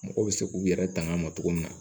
Mɔgɔw bɛ se k'u yɛrɛ tanga cogo min na